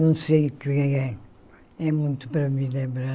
Não sei o que é é. É muito para me lembrar.